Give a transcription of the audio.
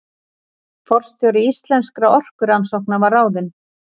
Forstjóri Íslenskra orkurannsókna var ráðinn